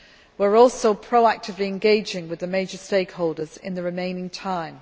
We are also proactively engaging with the major stakeholders in the remaining time.